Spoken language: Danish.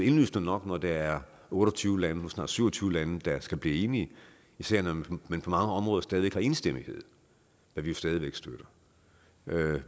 indlysende nok når der er otte og tyve lande nu snart syv og tyve lande der skal blive enige især når man på mange områder stadig væk har enstemmighed hvad vi stadig væk støtter